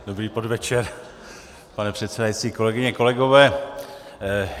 Dobrý podvečer, pane předsedající, kolegyně, kolegové.